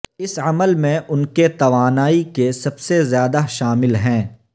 اس عمل میں ان کے توانائی کے سب سے زیادہ شامل ہیں